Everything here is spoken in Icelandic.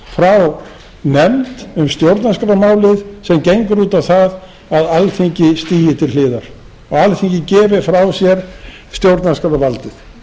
meirihlutatillögu frá nefnd um stjórnarskrármálið sem gengur út á það að alþingi stigi til hliðar og alþingi gefi frá sér stjórnarskrárvaldið